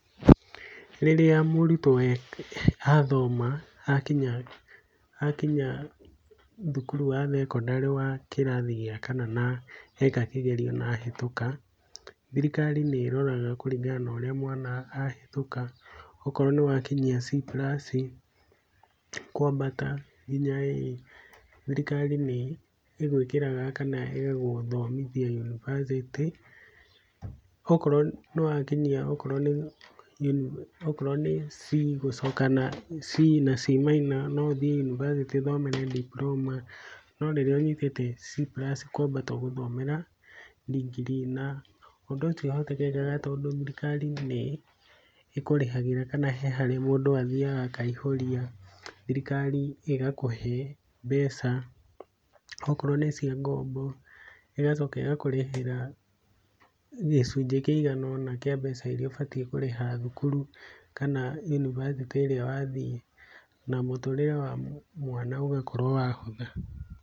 Rĩrĩa mũrutwo athoma akinya, akinya thukuru wa thekondarĩ wa kĩrathi kĩa kana na hĩtũka, thirikari nĩroraga kũringana na ũrĩa mwana ahĩtũka, okorwo nĩwakinyia C plus kwambata nginya A, thirikari nĩgũĩkĩraga kana ĩgagũthomithia yunibacĩtĩ. Okorwo nĩ wakinyia okorwo nĩ mini, okorwo nĩ C gũcoka nathĩ C na C maina no ũthiĩ yunibacĩtĩ ũthomere diploma, no rĩrĩa ũnyitĩte C plus kwambata ũgũthomera ndigiri. Na ũndũ ũcio ũhotekekaga, tondũ thirikari nĩĩkũrĩhagĩra kana he handũ harĩa mũndũ athiaga akaihũria, thirikari ĩgakũhe mbeca okorwo nĩ cia ngombo, ĩgacoka ĩgakũrĩhĩra gĩcunjĩ kĩiganona kĩa mbeca irĩa ũbatiĩ kũrĩha thukuru, kana yunibacĩtĩ ĩrĩa wathiĩ, na mũtũrĩre wa mwana ũgakorwo wahũtha.